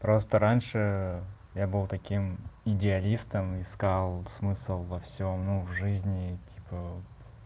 просто раньше я был таким идеалистом искал смысл во всём ну в жизни типа